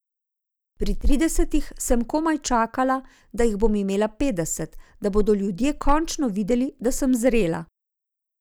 Pri tridesetih sem komaj čakala, da jih bom imela petdeset, da bodo ljudje končno videli, da sem zrela.